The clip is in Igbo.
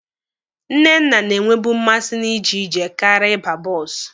Nnenna na-enwebu mmasị na iji ije karịa ịba bọọsụ.